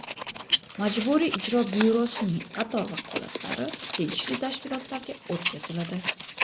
Majburiy ijro byurosining qator vakolatlari tegishli tashkilotlarga o‘tkaziladi.